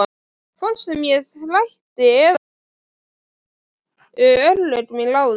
Hvort sem ég þrætti eða játti voru örlög mín ráðin.